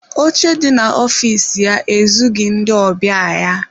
Oche dị na ọfịs ya ezughi ndị ọbịa ya.